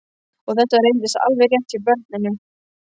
Og þetta reyndist alveg rétt hjá barninu.